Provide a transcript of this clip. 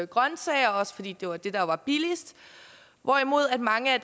grønsager også fordi det var det der var billigst hvorimod mange af